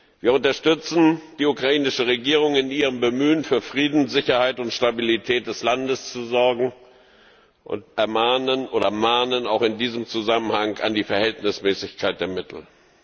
Wir unterstützen die ukrainische Regierung in ihrem Bemühen, für Frieden, Sicherheit und Stabilität des Landes zu sorgen, und mahnen auch in diesem Zusammenhang an die Verhältnismäßigkeit der Mittel.